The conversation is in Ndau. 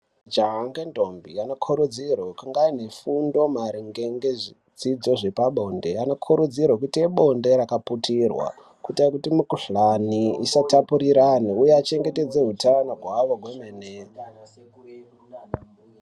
Jaha ngendombi vanokurudzirwe kunga ane fundo maringe ngezvidzidzo zvepabonde anokurudzirwe kuite bonde rakaputirwa kuita kuti mikhuhlane isa tapurirwana uye vachengetedze utano hwavo hwemene.